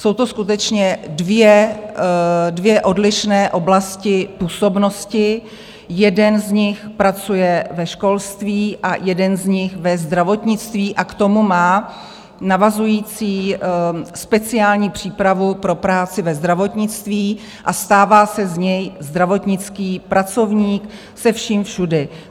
Jsou to skutečně dvě odlišné oblasti působnosti, jeden z nich pracuje ve školství a jeden z nich ve zdravotnictví, a k tomu má navazující speciální přípravu pro práci ve zdravotnictví a stává se z něj zdravotnický pracovník se vším všudy.